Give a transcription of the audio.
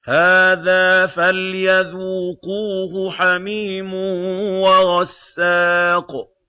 هَٰذَا فَلْيَذُوقُوهُ حَمِيمٌ وَغَسَّاقٌ